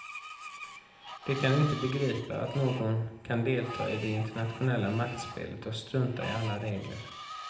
De kan inte begripa att någon kan delta i det internationella maktspelet och strunta i alla regler.